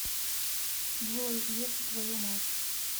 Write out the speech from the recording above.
джой еб твою мать